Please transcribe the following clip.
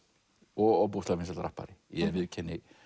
og ofboðslega vinsæll rappari ég viðurkenni